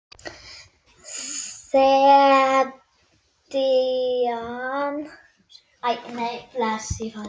Serían telur átta þætti.